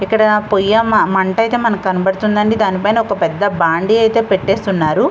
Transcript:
ఇక్కడ పొయ్య మ మంట ఐతే మనకి కనబడుతుందండి దానిపైన ఒక పెద్ద బాండి ఐతే పెట్టేస్తున్నారు.